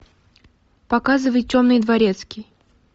показывай темный дворецкий